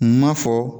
Maa fɔ